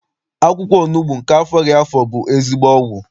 Akwụkwọ onugbu nke afọghị afọ bụ ezigbo ọgwụ.